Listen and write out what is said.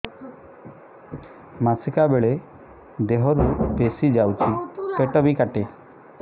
ମାସିକା ବେଳେ ଦିହରୁ ବେଶି ଯାଉଛି ପେଟ ବି କାଟେ